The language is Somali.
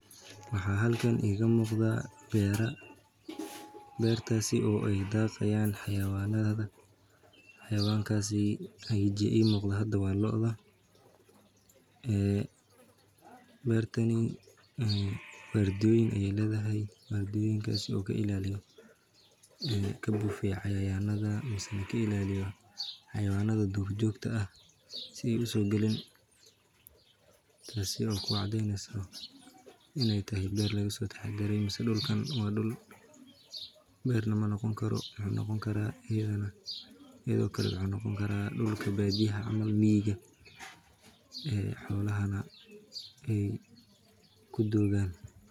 Waxaan halkan iiga muuqda beera aay daaqi haayan xawayama sida looda waxeey ledahay wardiyoyin oo ka ilaaliyo xawayanaha duur joogta ah mise wuxuu noqon karaa dulka badiyaha ee xolaha ku dogaan.